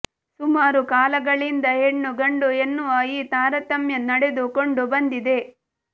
ಸುಮಾರು ಕಾಲಗಳಿಂದ ಹೆಣ್ಣು ಗಂಡು ಎನ್ನುವ ಈ ತಾರತಮ್ಯ ನಡೆದುಕೊಂಡು ಬಂದಿದೆ